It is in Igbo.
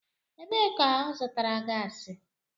Ebee ka ọ zụtara gasi?